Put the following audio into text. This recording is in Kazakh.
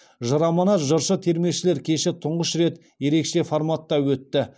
жыр аманат жыршы термешілер кеші тұңғыш рет ерекше форматта өтті